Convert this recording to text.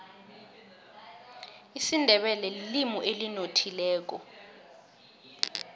isindebele lilimi elinothileko